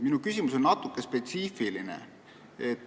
Minu küsimus on natuke spetsiifiline.